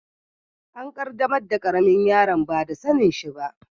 An qaddamar da karemin yaron ba da sanin shi ba.